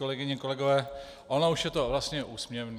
Kolegyně, kolegové, ono už je to vlastně úsměvné.